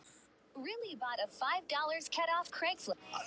Þá bjó hann þar.